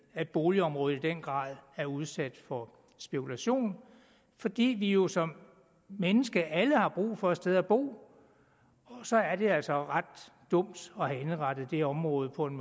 at boligområdet i den grad er udsat for spekulation fordi vi jo som mennesker alle har brug for et sted at bo og så er det altså ret dumt at have indrettet det område på en